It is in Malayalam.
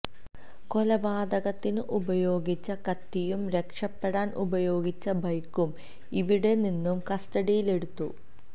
കൊലപാതകത്തിനു ഉപയോഗിച്ച കത്തിയും രക്ഷപെടാൻ ഉപയോഗിച്ച ബൈക്കും ഇവിടെ നിന്നും കസ്റ്റഡിയിലെടുത്തു